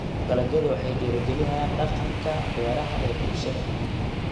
Dalagyadu waxay dhiirigeliyaan dhaqanka beeraha ee bulshada.